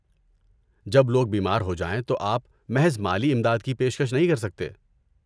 جب لوگ بیمار ہو جائیں تو آپ محض مالی امداد کی پیشکش نہیں کر سکتے۔